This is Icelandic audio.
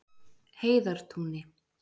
Heiðartúni